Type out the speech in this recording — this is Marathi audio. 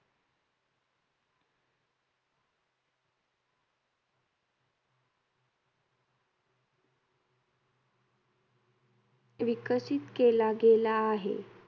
विकसित केला गेला आहे.